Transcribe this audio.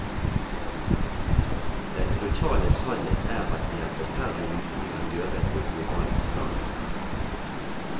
Den brutale sannhet er at det er forferdelig lite vi kan gjøre på globalt plan.